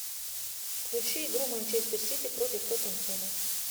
включи игру манчестер сити против тоттенхэма